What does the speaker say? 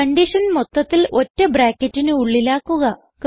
condition മൊത്തത്തിൽ ഒറ്റ ബ്രാക്കറ്റിന് ഉള്ളിലാക്കുക